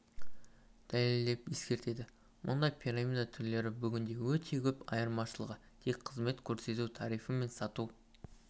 дәлелдеп ескертеді мұндай пирамида түрлері бүгінде өте көп айырмашылығы тек қызмет көрсету тарифі мен сату